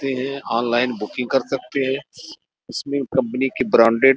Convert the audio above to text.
हैं online booking कर सकते हैं इसमें कंपनी के ब्रांडेड --